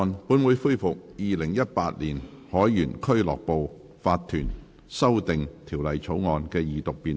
本會恢復《2018年海員俱樂部法團條例草案》的二讀辯論。